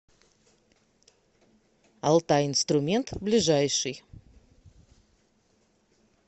алтай инструмент ближайший